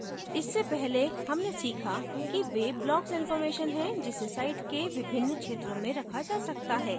इससे पहले हमने सीखा कि वे blocks इनफॉर्मेशन हैं जिसे site के विभिन्न क्षेत्रों में रखा जा सकता है